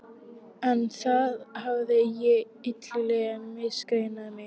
En þar hafði ég illilega misreiknað mig.